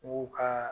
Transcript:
U ka